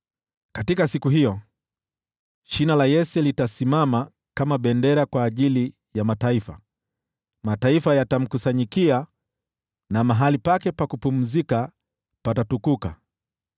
Katika siku hiyo, Shina la Yese atasimama kama bendera kwa ajili ya mataifa. Mataifa yatakusanyika kwake, na mahali pake pa kupumzikia patakuwa utukufu.